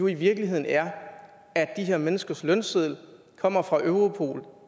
i virkeligheden er at de her menneskers lønseddel kommer fra europol